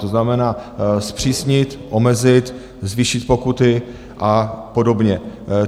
To znamená zpřísnit, omezit, zvýšit pokuty a podobně.